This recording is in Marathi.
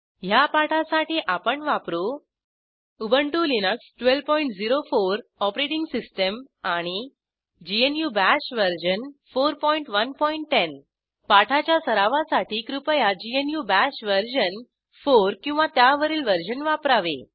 ह्या पाठासाठी आपण वापरू उबंटु लिनक्स 1204 ओएस आणि GNU बाश वर्जन 4110 पाठाच्या सरावासाठी कृपया ग्नू बाश वर्जन 4 किंवा त्यावरील वर्जन वापरावे